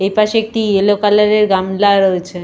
এপাশে একটি yellow colour এর গামলা রয়েছে।